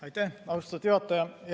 Aitäh, austatud juhataja!